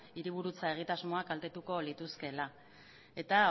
hiriburutza egitasmoak kaltetuko lituzkeela eta